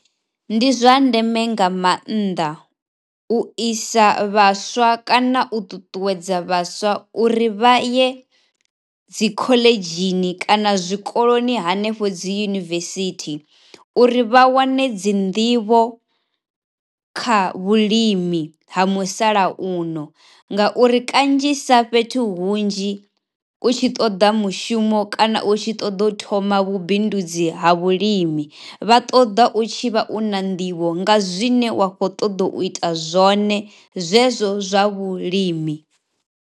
Ndi zwa ndeme nga maanḓa u isa vhaswa kana u ṱuṱuwedza vhaswa uri vha ye dzi khoḽedzhini kana zwikoloni hanefho dzi yunivesithi, uri vha wane dzi nḓivho kha vhulimi ha musalauno ngauri kanzhisa fhethu hunzhi u tshi ṱoda mushumo kana u tshi ṱoḓa u thoma vhubindudzi ha vhulimi vha ṱoḓa u tshi vha u na nḓivho nga zwine wa khou ṱoḓa u ita zwone zwezwo zwa vhulimi.